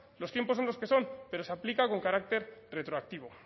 los tiempos son los que son pero se aplica con carácter retroactivo